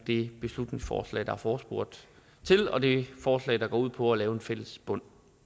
det beslutningsforslag der er forespurgt til og det forslag der går ud på at lave en fælles bund